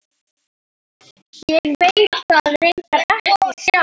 Veit það reyndar ekki sjálf.